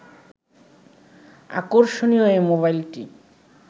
আকষর্ণীয় এ মোবাইলটি